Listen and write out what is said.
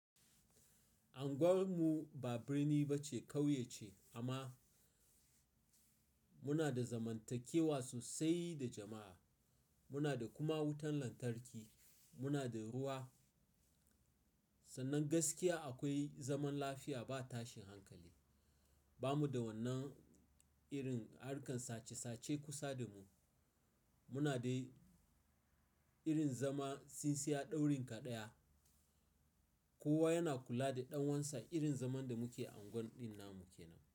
Anguwan mu ba birni ba ce, kauye ce amma muna da zamantakewa sosai da jama'a. Muna da kuma wutan lantarki, muna da ruwa. Sannan gaskiya akwai zaman lafiya ba tashin hankali. Ba mu da wannan irin harkan sace sace kusa da mu. Muna dai irin zaman tsintsiya ɗaurin ka ɗaya. Kowa yana kula da ɗan uwansa irin zaman da muke a unguwar ɗin namu kenan.